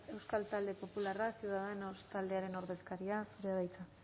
euskal talde popularra ciudadanos taldearen ordezkaria zurea da hitza